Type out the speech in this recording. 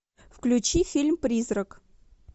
включи фильм призрак